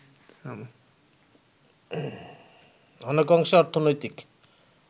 অনেকাংশে অর্থনৈতিক